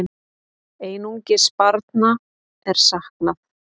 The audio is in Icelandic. Einungis barna er saknað.